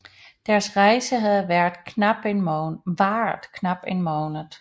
Deres rejse havde varet knap en måned